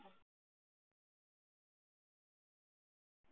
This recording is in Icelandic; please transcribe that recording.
Almennir launamenn í gíslingu